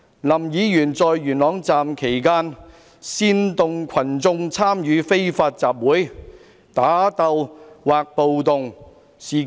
林議員在元朗站期間，煽惑群眾參與非法集會、打鬥或暴動。